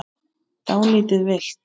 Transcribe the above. Dálítið villt!